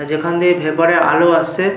যেখান দিয়ে ভেপার -এর আলো আসছে।